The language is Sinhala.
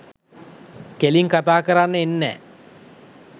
කෙලින් කතා කරන්න එන්නෑ.